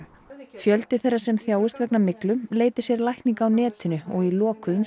fjöldi þeirra sem þjást vegna myglu leiti sér lækninga á netinu og í lokuðum